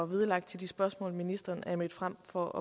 vedlagt de spørgsmål som ministeren er mødt frem for